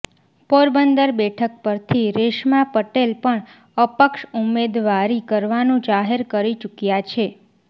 પોરબંદર બેઠક પરથી રેશમા પટેલ પણ અપક્ષ ઉમેદવારી કરવાનું જાહેર કરી ચૂક્યા છે